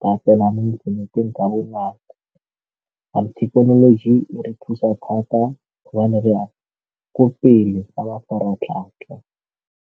ka tsena mo inthaneteng ka bonako thekenoloji e re thusa thata hobane re ya ko pele ka mafaratlhatlha.